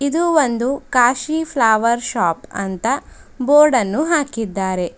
ಇದು ಒಂದು Kashi flower shop ಅಂತ ಬೋರ್ಡ್ ಅನ್ನು ಹಾಕಿದ್ದಾರೆ.